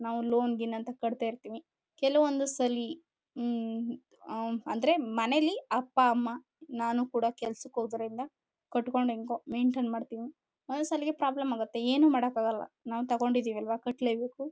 ನಾವು ಲೋನ್ ಗೀನ್ ಅಂತ ಕಟ್ಟುತ ಇರ್ತಿವಿ. ಕೆಲುವೊಂದು ಸಲಿ ಹ್ಮ್ಮ್ ಹ್ಮ್ಮ್ ಅಂದ್ರೆ ಮನೇಲಿ ಅಪ್ಪ ಅಮ್ಮ ನಾನು ಕೂಡ ಕೆಲಸ ಹೋಗುವುದರಿಂದ ಕಟ್ಟುಕೊಂಡು ಹೆಂಗೋ ಮೈನ್ಟೈನ್ ಮಾಡುತೀವಿ. ಒಂದೊಂದು ಸಲಿಗೆ ಪ್ರಾಬ್ಲಮ್ ಆಗುತ್ತೆ ಏನು ಮಾಡಕ್ಕೆ ಆಗಲ್ಲ ನಾವು ತಗೊಂಡಿದ್ದೀವಲ್ವಾ ಕಟ್ಟಲೆ ಬೇಕು.